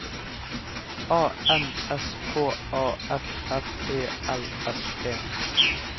A N S K A F F E L S E